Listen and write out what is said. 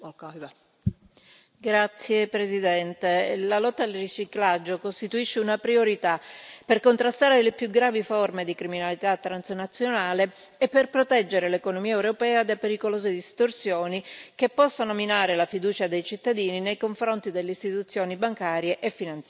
Signora Presidente, onorevoli colleghi, la lotta al riciclaggio costituisce una priorità per contrastare le più gravi forme di criminalità transnazionale e per proteggere l'economia europea da pericolose distorsioni, che possono minare la fiducia dei cittadini nei confronti delle istituzioni bancarie e